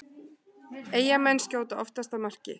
Eyjamenn skjóta oftast að marki